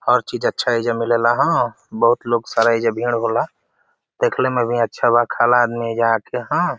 हर चीज़ अच्छा एइजा मिलेला हँ। बहुत लोग सारा ऐजा भीड़ होला देखले में भी अच्छा बा। खाला आदमी एइजा आके हँ।